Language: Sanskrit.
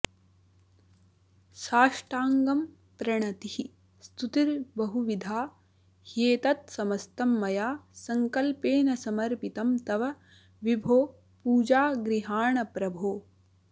साष्टाङ्गं प्रणतिः स्तुतिर्बहुविधा ह्येतत्समस्तं मया सङ्कल्पेन समर्पितं तव विभो पूजां गृहाण प्रभो